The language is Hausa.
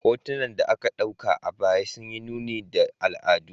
Hotunan da aka dauka a baya sun yi nuni da al'adu.